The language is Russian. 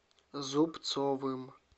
зубцовым